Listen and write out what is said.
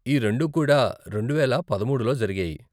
ఈ రెండు కూడా రెండువేల పదమూడులో జరిగాయి.